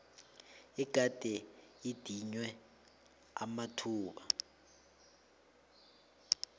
egade idinywe amathuba